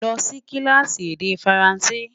lọ Si kilaasi èdè faransé